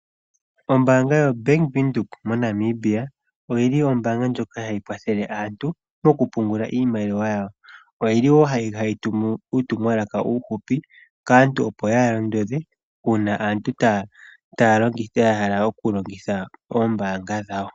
Ombaanga yoBank Windhoek moNamibia oyili ombaanga ndjoka hayi kwathlele aantu moku pungula iimaliwa yawo oyili wo hayi tumu uurumwalaka uufupi kaantu uuna pena aantu yamwe ya hala okulongitha oombanga dhawo.